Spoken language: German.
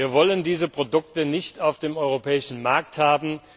Wir wollen diese Produkte nicht auf dem europäischen Markt haben.